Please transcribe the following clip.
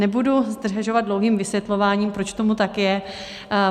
Nebudu zdržovat dlouhým vysvětlováním, proč tomu tak je.